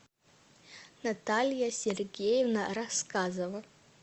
наталья сергеевна рассказова